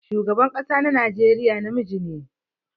Shugaban kasa na Najeriya na miji ne.